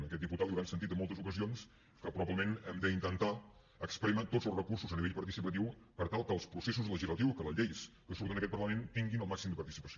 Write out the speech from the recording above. a aquest diputat li deuen haver sentit en moltes ocasions que probablement hem d’intentar esprémer tots els recursos a nivell participatiu per tal que els processos legislatius que les lleis que surten d’aquest parlament tinguin el màxim de participació